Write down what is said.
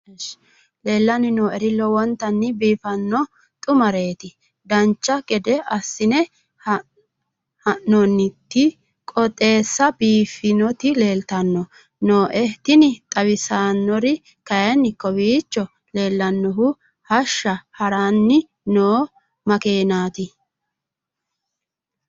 leellanni nooeri lowonta biiffinonna xumareeti dancha gede assine haa'noonniti qooxeessano biiffinoti leeltanni nooe tini xawissannori kayi kowiicho leellannohu hashsha haranni noo makenati